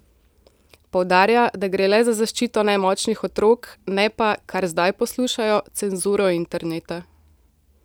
Poudarja, da gre le za zaščito nemočnih otrok, ne pa, kar zdaj poslušajo, cenzuro interneta.